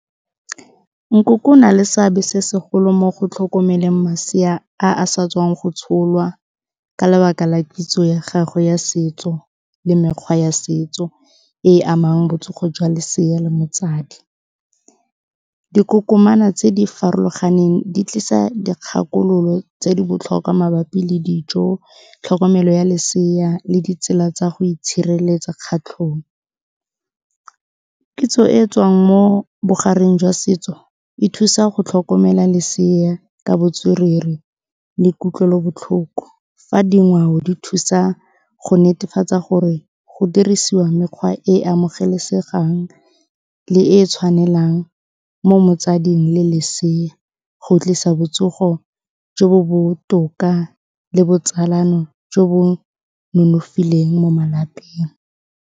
Nkoko o na le seabe se segolo mo go tlhokomeleng masea a a sa tswang go tsholwa ka lebaka la kitso ya gagwe ya setso le mekgwa ya setso e e amang botsogo jwa lesea le motsadi. Dikokomana tse di farologaneng di tlisa dikgakololo tse di botlhokwa mabapi le dijo, tlhokomelo ya lesea le ditsela tsa go itshireletsa . Kitso e e tswang mo bogareng jwa setso, e thusa go tlhokomela lesea ka botswerere le kutlwelobotlhoko. Fa dingwao di thusa go netefatsa gore go dirisiwa mekgwa e e amogelesegang le e e tshwanelang mo motsading le lesea go tlisa botsogo jo bo botoka le botsalano jo bo nonofileng mo malapeng.